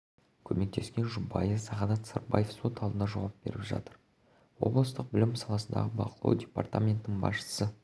көмектескен жұбайы сағадат сырбаева сот алдында жауап беріп жатыр облыстық білім саласындағы бақылау департаментінің басшысы